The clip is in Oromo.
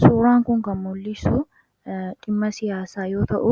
Suuraan kun kan mul'isu dhimma siyaasaa yoo ta'u,